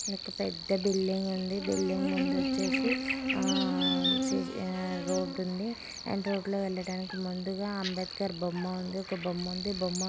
పెద్ద బిల్డింగ్ ఉంది బిల్డింగ్ ముందు వచ్చేసి ఆ రోడ్డుంది అండ్ రోడ్డు లో వెళ్ళడానికి ముందుగా అంబెడ్కర్ బొమ్మ ఉంది ఒక బొమ్మ ఉంది బొమ్మ--